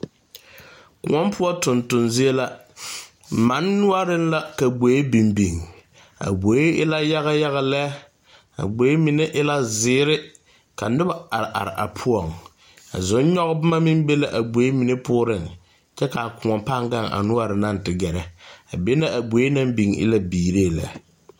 koɔ poɔ tonton zie la, manne noɔreŋ la ka gboɛ biŋ biŋ a gboɛ e la yaga yaga lɛ a gboɛ mine e la zeɛre, ka noba are are a poɔŋ, zon nyɔge boma meŋ be la a gboɛ poɔŋ kyɛ kaa koɔ paa Gan a noɔre naŋ te gɛre, a be na a gboɛ naŋ biŋ e la biiree lɛ.